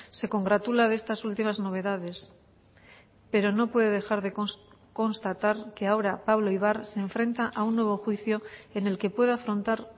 se congratula de estas últimas novedades pero no puede dejar de constatar que ahora pablo ibar se enfrenta a un nuevo juicio en el que puede afrontar